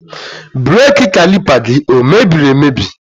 Brake Caliper gi emebiri emebi?